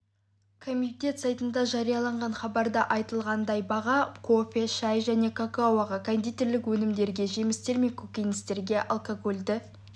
комитет сайтында жарияланған хабарда айтылғандай баға кофе шай және какаоға кондитерлік өнімдерге жемістер мен көкөністерге алкогольді